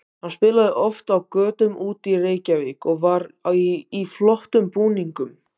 Hann spilaði oft á götum úti í Reykjavík og var í flottum búningum.